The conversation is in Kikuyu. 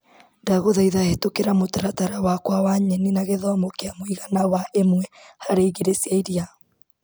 Ndagũthaitha hetũkĩra mũtaratara wakwa wa nyenI na gĩthimo kĩa mũigana wa ĩmwe harĩ igĩrĩ cia iria.